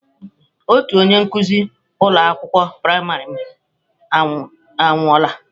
Otu onye nkuzi ụlọ akwụkwọ praịmarị m anwụọla.